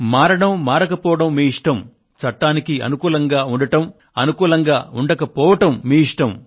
మారడం మారకపోవడం మీ ఇష్టం చట్టానికి అనుకూలంగా ఉండడం అనుకూలంగా ఉండకపోవడం మీ ఇష్టం